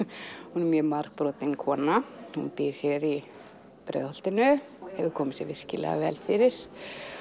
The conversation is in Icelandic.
hún er margbrotin kona býr hér í Breiðholtinu og hefur komið sér vel fyrir